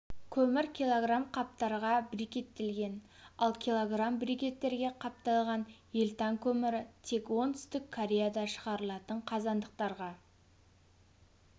көмір кг қаптарға брикеттелген ал кг брикеттерге қапталған елтан көмірі тек оңтүстік кореяда шығарылатын қазандықтарға